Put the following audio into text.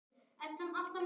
Vel var tekið undir.